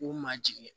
K'u ma jigin